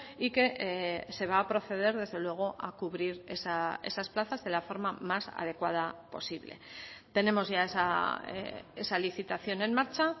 y que se va a proceder desde luego a cubrir esas plazas de la forma más adecuada posible tenemos ya esa licitación en marcha